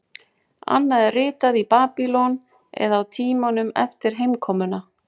Annað er ritað í Babýlon eða á tímanum eftir heimkomuna.